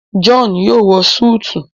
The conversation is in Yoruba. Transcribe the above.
John yóò wọ Súìtì